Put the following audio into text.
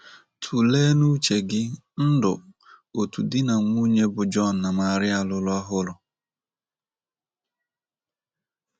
Tụlee n' uche gị, ndụ otu di na nwunye bụ John na Maria lụrụ ọhụrụ